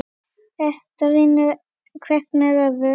Þetta vinnur hvert með öðru.